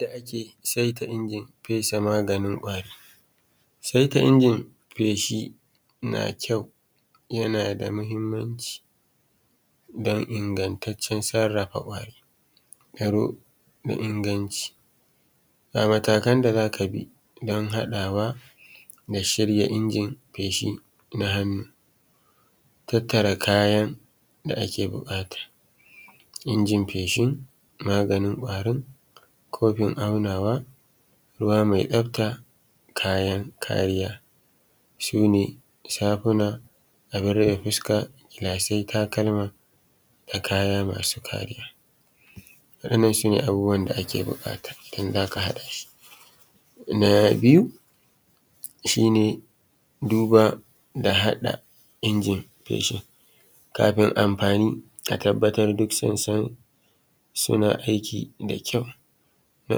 Yadda ake saita injin fesa maganin ƙwari, sai ta injin feshi na da ƙyau yana da mahimmanci don ingantaccen sarrafa ƙwari mai inganci. Ga matakan da za ka bi don hakawa da shirya injin feshi na hannu, tattara kayan da ake bukata injin feshin maganin kwarin kofin aunawa ruqa mai tsafta kayan kariya, su ne abun rufe fuska sai takalma da kayan masu kariya. Waɗannan su ne abubuwan da ake buƙata idan za ka haɗa shi. Na biyu shi ne duba da haɗa injin feshin, kafi amfani a tabbatar duk sun san suna aiki da ƙyau. Na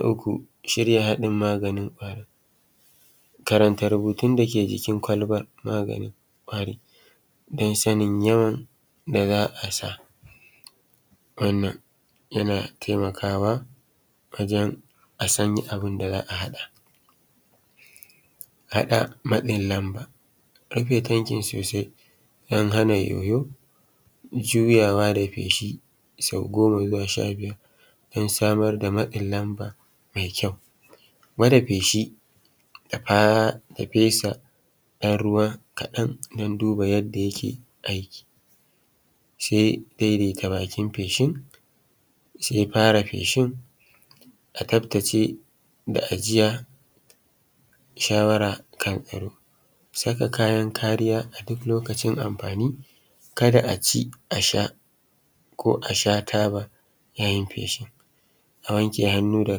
uku shirya haɗin maganin karanta Rubutun da yake jikin kwalbar na magani don sanin yawan da za a sa. Wannan yana taimakawa wajen a san abun da za a haɗa matsin lamba, rufe tankin sosai don hana yoyo juyawa da feshi sau goma zuwa sha biyar, don samar da matsin lamba mai ƙyau. Gwada feshi da fesa dan ruwa kafan don duba yadda yake aiki. Sai daidaita bakin feshin sai fara feshi a tsaftace da ajiya. Shawara kan saka kayan kariya a duk lokacin amfani, ka da a ci sha ko a sha taba yayin feshi a wanke hannu da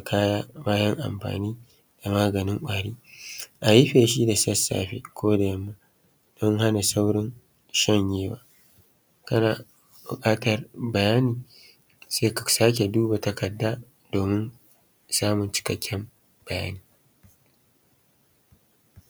kaya bayan amfani da maganin ƙwari. A yi feshi da safe ko da yamma don sana saurin shamyewa, kana buƙata bayani sai ka sake duba takarda domin samun cikakken bayani a nan. Yadda ake saita.